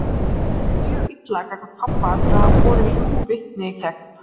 Mér leið mjög illa gagnvart pabba fyrir að hafa borið ljúgvitni gegn